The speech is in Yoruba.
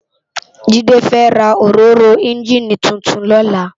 Jide fè rá óróró ènjiní tútún lòlá